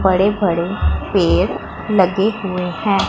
बड़े बड़े पेड़ लगे हुए हैं।